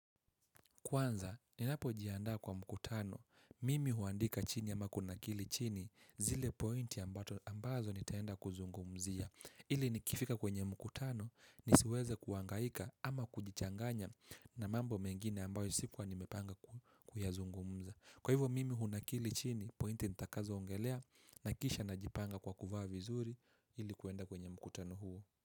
Kwanza, ninapojiandaa kwa mkutano, mimi huandika chini ama kunakili chini zile pointi ambazo nitaenda kuzungumzia. Ili nikifika kwenye mkutano, nisiweze kuhangaika ama kujichanganya na mambo mengine ambayo sikuwa nimepanga kuyazungumza. Kwa hivyo mimi hunakili chini, pointi nitakazo ongelea na kisha najipanga kwa kuvaa vizuri ilikuenda kwenye mkutano huo.